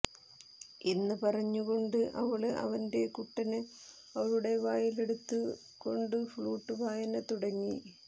എന്ന് പറഞ്ഞു കൊണ്ട് അവള് അവന്റെ കുട്ടന് അവളുടെ വായില് എടുത്തു കൊണ്ട് ഫ്ലുട്ട് വായന തുടങ്ങി